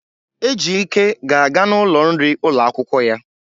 Ejike ga-aga n'ụlọ nri ụlọ akwụkwọ ya.